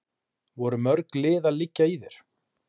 Voru mörg lið að liggja í þér?